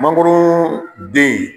Mangoron den